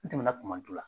N tɛmɛna kuma la